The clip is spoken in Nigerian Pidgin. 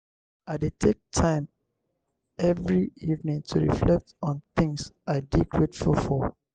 i dey take time every evening to reflect on things i dey grateful for.